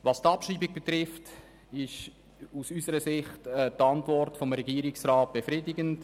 Was die Abschreibung betrifft, ist aus unserer Sicht die Antwort des Regierungsrats befriedigend.